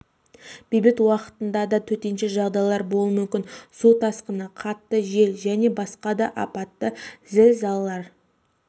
бейбіт уақытында да төтенше жағдайлар болу мүмкін су тасқыны қатты жел және басқа да аппатты зілзалалар